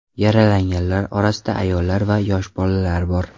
Yaralanganlar orasida ayollar va yosh bolalar bor.